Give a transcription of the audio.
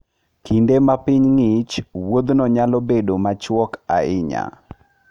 Kinde ma piny ng'ich, wuodhno nyalo bedo machuok ahinya.